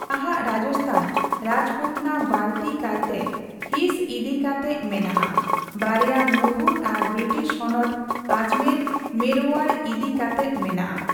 ᱱᱟᱦᱟᱜ ᱨᱟᱡᱟᱥᱛᱷᱟᱱ ᱨᱟᱡᱯᱩᱛᱱᱟ ᱵᱟᱲᱛᱤ ᱠᱟᱭᱛᱮ ᱦᱤᱥ ᱤᱫᱤ ᱠᱟᱛᱮᱜ ᱢᱮᱱᱟᱜ ᱟ, ᱵᱟᱨᱭᱟ ᱢᱩᱬᱩᱫ ᱟᱨ ᱵᱨᱤᱴᱤᱥ ᱦᱚᱱᱚᱛ ᱟᱡᱢᱮᱨᱼ ᱢᱮᱨᱚᱳᱣᱟᱲ ᱤᱫᱤ ᱠᱟᱛᱮᱜ ᱢᱮᱱᱟᱜ ᱟ ᱾